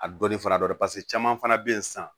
A dɔnni fara dɔ de kan paseke caman fana be yen sisan